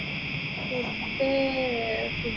food ഏർ food